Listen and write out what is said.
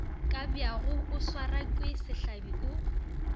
kabjako o swarwake sehlabi o